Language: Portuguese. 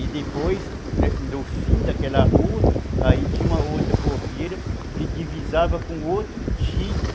E depois, no fim daquela rua, aí tinha uma outra porteira que divisava com outro tio.